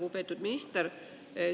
Lugupeetud minister!